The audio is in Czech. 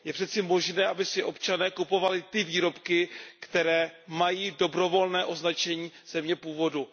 Je přece možné, aby si občané kupovali ty výrobky, které mají dobrovolné označení země původu.